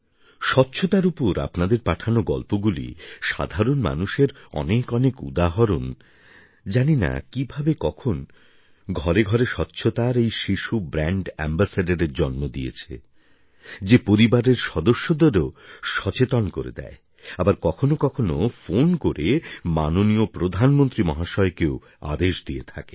স্বচ্ছতার উপর আপনাদের পাঠানো গল্পগুলি সাধারণ মানুষের অনেক অনেক উদাহরণ জানি না কীভাবে কখন ঘরে ঘরে স্বচ্ছতার এই শিশু ব্র্যাণ্ড অ্যাম্বাসেডারএর জন্ম দিয়েছে যে পরিবারের সদস্যদেরও সচেতন করে আবার কখনও কখনও ফোন করে মাননীয় প্রধানমন্ত্রী মহাশয়কেও আদেশ দিয়ে থাকে